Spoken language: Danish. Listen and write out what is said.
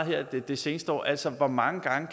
her det det seneste år altså hvor mange gange